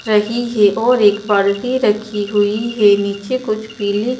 रही है और एक बाल्टी रखी हुई है नीचे कुछ पीली--